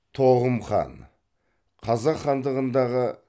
тоғым хан қазақ хандығындағы